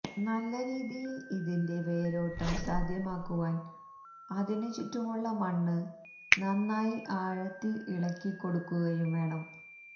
നല്ല രീതിയിൽ ഇതിന്റെ വേരോട്ടം സാധ്യമാക്കുവാൻ അതിനു ചുറ്റുമുള്ള മണ്ണ് നന്നായി ആഴത്തിൽ ഇളക്കി കൊടുക്കുകയും വേണം